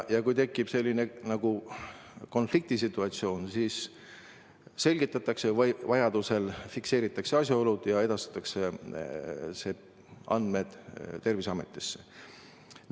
Kui tekib konfliktsituatsioon, siis selgitatakse olukorda ja vajaduse korral fikseeritakse asjaolud ja edastatakse andmed Terviseametisse.